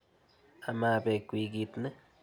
Ama pek wikit ni.